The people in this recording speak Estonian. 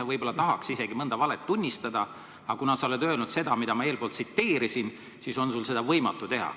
Sa võib-olla tahaks isegi mõnda valet tunnistada, aga kuna sa oled öelnud seda, mida ma tsiteerisin, siis on sul seda võimatu teha.